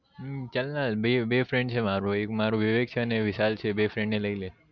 હમ ચલને બે બે friend છે મારે એક મારું વિવેક છે ને વિશાલ છે બે friend ને લઇ લે